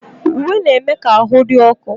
Uwe na-eme ka ahụ dị ọkụ